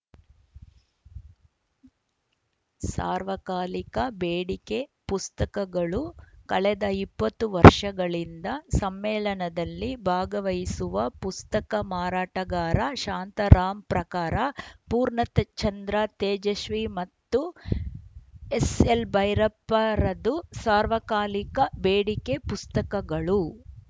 ಸಾರ್ವಕಾಲಿಕ ಬೇಡಿಕೆ ಪುಸ್ತಕಗಳು ಕಳೆದ ಇಪ್ಪತ್ತು ವರ್ಷಗಳಿಂದ ಸಮ್ಮೇಳನದಲ್ಲಿ ಭಾಗವಹಿಸುವ ಪುಸ್ತಕ ಮಾರಾಟಗಾರ ಶಾಂತಾರಾಮ್‌ ಪ್ರಕಾರ ಪೂರ್ಣಚಂದ್ರ ತೇಜಶ್ವಿ ಮತ್ತು ಎಸ್‌ಎಲ್‌ಭೈರಪ್ಪರದು ಸಾರ್ವಕಾಲಿಕ ಬೇಡಿಕೆ ಪುಸ್ತಕಗಳು